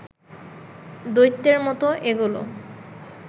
দৈত্যের মতো এগোলো